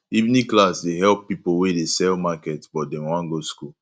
evening class dey help pipo wey dey sell market but dem wan go skool